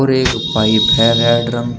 एक पाइप है ड्रम का।